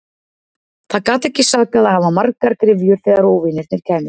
Það gat ekki sakað að hafa margar gryfjur þegar óvinirnir kæmu.